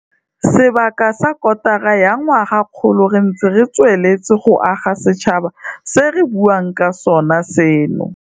Sebaka sa kotara ya ngwagakgolo re ntse re tsweletse go aga setšhaba se re buang ka sona seno.